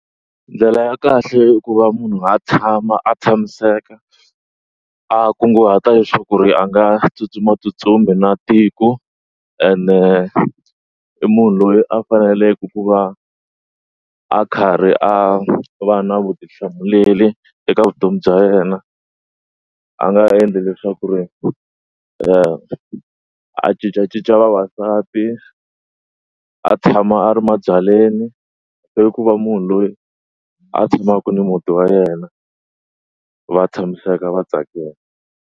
Ndlela ya kahle ku va munhu a tshama a tshamiseka a kunguhata leswaku ku ri a nga tsutsumatsutsumi na tiko ene i munhu loyi a faneleke ku va a karhi a va na vutihlamuleri eka vutomi bya yena a nga endli leswaku ri a cincacinca va vasati a tshama a ri mabyaleni i ku va munhu loyi a tshamaka ni muti wa yena va tshamiseka vatsakini.